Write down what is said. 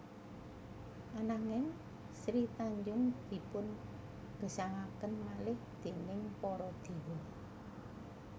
Ananging Sri Tanjung dipun gesangaken malih déning para dewa